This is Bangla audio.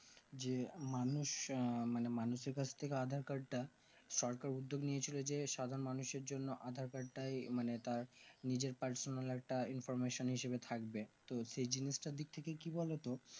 যে মানুষ মানে মানুষের কাছ থেকে aadhaar card তা সরকার উদ্যোগ নিয়েছিল যে সাধারণ মানুষের জন্য aadhaar card তাই মানে তার নিজের personal একটা information হিসেবে থাকবে তো সেই জিনিস তার দিক থেকে কি বোলো তো